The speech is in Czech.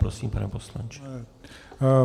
Prosím, pane poslanče.